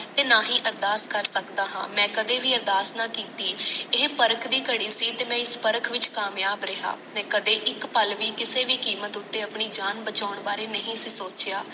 ਤੇ ਨਾ ਹੀ ਆਰਡਰ ਕਰ ਸਕਦਾ ਹਾਂ ਮੈਂ ਕਦੇ ਵੀ ਅਰਦਾਸ ਨਾ ਕੀਤੀ ਇਹ ਪਾਰਖ ਦੀ ਖਾੜੀ ਸੀ ਤੇ ਮੈ ਇਸ ਪਾਰਖ ਵਿਚ ਕਮਿਯਾਬ ਰਿਹਾ ਮੈ ਕਦੇ ਇਕ ਪਾਲ ਵੀ ਕਿਸੇ ਵੀ ਕੀਮਤ ਉਤੇ ਆਪਣੀ ਜਾਣ ਬਚਾਣ ਬਾਰੇ ਨਹੀਂ ਸੀ ਸੋਚਿਆਂ